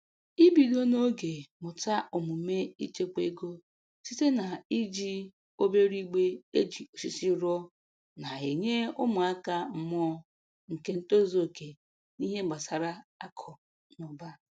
Ibido n'oge mụta omume ichekwa ego site na-iji obere igbe e ji osisi rụọ, na-enye ụmụaka mmụọ nke ntozuoke n'ihe gbasara akụ na ụba